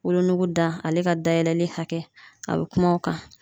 Wolonugu da ale ka dayɛlɛli hakɛ a be kuma o kan